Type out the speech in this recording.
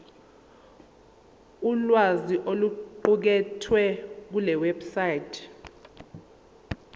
ulwazi oluqukethwe kulewebsite